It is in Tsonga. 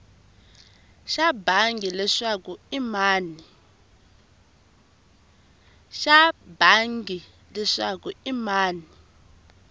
xa bangi leswaku i mani